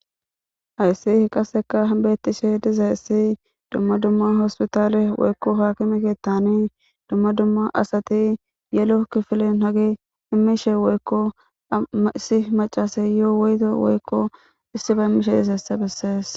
Hayssi beetishe dizaysi dumma dumma aakime keethani woyko hospitaleni asati yelo kifilen hagey meesha woyko issi macccaseysi woyto woyko isiba immishe dizaysa bessees.